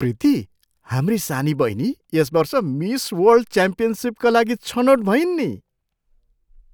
प्रीति! हाम्री सानी बहिनी यस वर्ष मिस वर्ल्ड च्याम्पियनसिपका लागि छनोट भइन् नि!